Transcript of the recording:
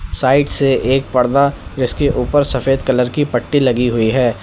Side से एक परदा जिसके ऊपर सफेद कलर की पट्टी लगी हुई है।